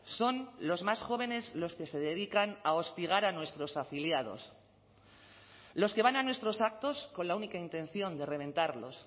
son los más jóvenes los que se dedican a hostigar a nuestros afiliados los que van a nuestros actos con la única intención de reventarlos